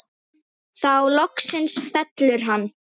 Þá loksins fellur hann.